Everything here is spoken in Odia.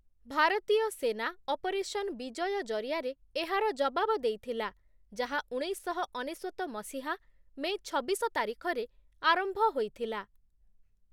ଭାରତୀୟ ସେନା ଅପରେସନ ବିଜୟ ଜରିଆରେ ଏହାର ଜବାବ ଦେଇଥିଲା, ଯାହା ଉଣେଇଶଶହ ଅନେଶ୍ୱତ ମସିହା ମେ ଛବିଶ ତାରିଖରେ ଆରମ୍ଭ ହୋଇଥିଲା ।